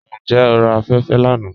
Njẹ́ o rà afẹ̀fẹ̀ lána?